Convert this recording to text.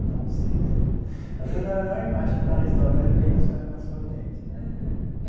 Então você, às vezes, não é não é a imagem que está na história, mas vem na sua na sua mente né. Aham.